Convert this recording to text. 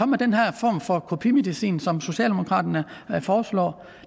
med den her form for kopimedicin som socialdemokraterne foreslår